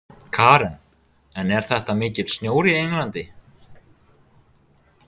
Karen: En er þetta mikill snjór í Englandi?